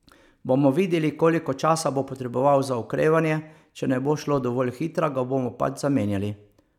Bomo videli, koliko časa bo potreboval za okrevanje, če ne bo šlo dovolj hitro, ga bomo pač zamenjali.